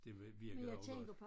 Det virkede også godt